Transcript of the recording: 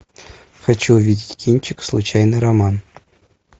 хочу увидеть кинчик случайный роман